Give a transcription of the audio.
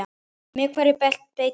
Með hverju beitið þið?